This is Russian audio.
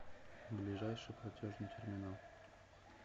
ближайший платежный терминал